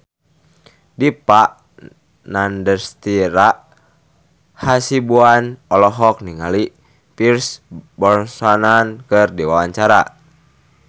Dipa Nandastyra Hasibuan olohok ningali Pierce Brosnan keur diwawancara